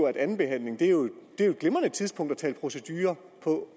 at andenbehandlingen er et glimrende tidspunkt at tale procedure